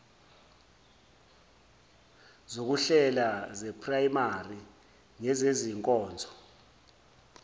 zokuhlela zeprayimari ngezezinkonzo